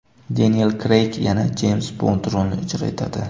Deniel Kreyg yana Jeyms Bond rolini ijro etadi.